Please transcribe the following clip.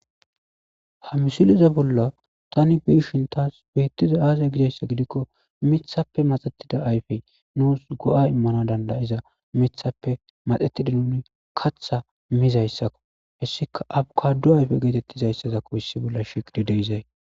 Ha misiliza bolla tani beishin taas beettiza aaza gizayssa gidikko mithappe maxettida ayfey nuus go'a immana dandayiza mithappe maxetida nuni katha mizayssakko hessika abukadu ayfe geetettizayssazakko issi bolla shiqdi deizay.